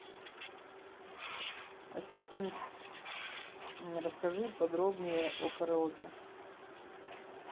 ассистент расскажи подробнее о караоке